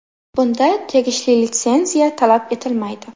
Bunda tegishli litsenziya talab etilmaydi.